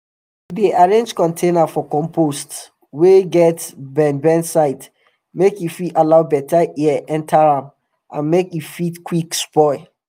we dey arrange container for compost wey get bend bend side make e fit allow beta air enter am and make e fit quick spoil